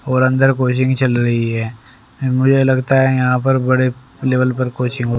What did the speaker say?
और अंदर कोचिंग चल रही है मुझे लगता है यहां पर बड़े लेवल पर कोचिंग --